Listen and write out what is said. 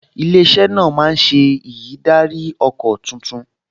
Ilé-iṣẹ́ náà máa ṣe ìyídáríọkọ̀ tuntun